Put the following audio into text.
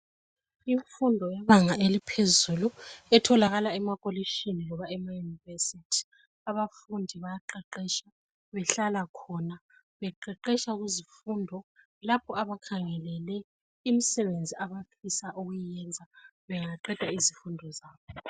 Imfundo yebanga eliphezulu etholakala emakolitshini loba emayunivesithi, abafundi bayaqeqetsha behlala khona beqeqeqetsha kuzifundo lapho abakhangelele imisebenzi abafisa ukuyiyenza bengaqeda izifundo zabo.